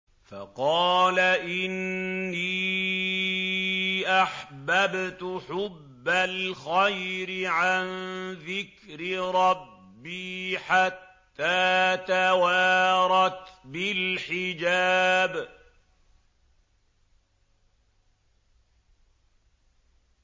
فَقَالَ إِنِّي أَحْبَبْتُ حُبَّ الْخَيْرِ عَن ذِكْرِ رَبِّي حَتَّىٰ تَوَارَتْ بِالْحِجَابِ